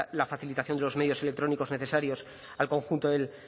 la facilitación de los medios electrónicos necesarios al conjunto del